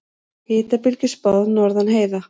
Hitabylgju spáð norðan heiða